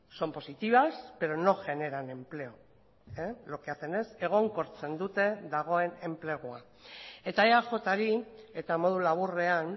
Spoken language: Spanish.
son positivas pero no generan empleo lo que hacen es egonkortzen dute dagoen enplegua eta eajri eta modu laburrean